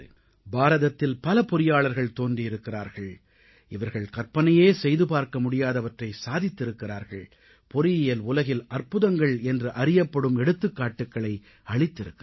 பாரதத்தில் பல பொறியாளர்கள் தோன்றியிருக்கிறார்கள் இவர்கள் கற்பனையே செய்து பார்க்க முடியாதவற்றை சாதித்திருக்கிறார்கள் பொறியியல் உலகில் அற்புதங்கள் என்று அறியப்படும் எடுத்துக்காட்டுகளை அளித்திருக்கிறார்கள்